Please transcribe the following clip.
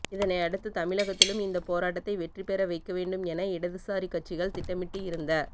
இதனை அடுத்து தமிழகத்திலும் இந்த போராட்டத்தை வெற்றி பெற வைக்க வேண்டும் என இடதுசாரி கட்சிகள் திட்டமிட்டு இருந்த